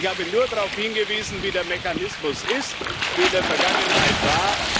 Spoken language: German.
Ich habe nur darauf hingewiesen, wie der Mechanismus ist, wie er in der Vergangenheit war.